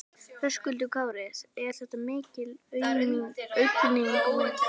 Höskuldur Kári: Er þetta mikil aukning milli ára?